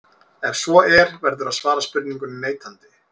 Ef svo er verður að svara spurningunni neitandi.